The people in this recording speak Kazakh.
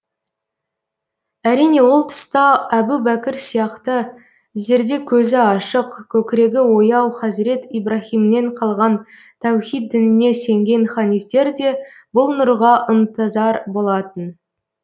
әрине ол тұста әбу бәкір сияқты зерде көзі ашық көкірегі ояу хазірет ибраһимнен қалған тәухид дініне сенген ханифтер де бұл нұрға ынтызар болатын